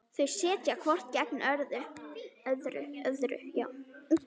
Þau sitja hvort gegnt öðru.